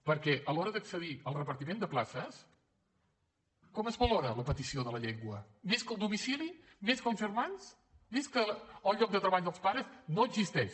perquè a l’hora d’accedir al repartiment de places com es valora la petició de la llengua més que el domicili més que els germans més que el lloc de treball dels pares no existeix